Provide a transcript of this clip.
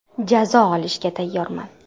Jazo olishga tayyorman.